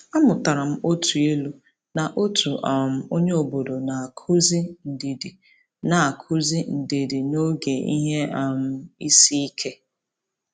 A mụtara m otu ilu n’otu um onyeobodo na-akụzi ndidi na-akụzi ndidi n’oge ihe um isiike.